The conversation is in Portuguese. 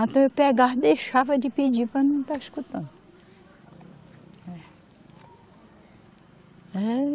Até eu pegava, deixava de pedir para não estar escutando, eh.